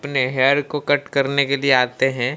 अपने हेयर को कट करने के लिए आते है।